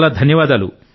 చాలా ధన్యవాదాలు